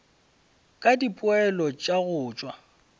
ka dipoelo tša go tšwa